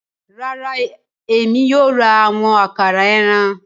Rara, Èmi kìí yóò ra awọn àkàrà ẹran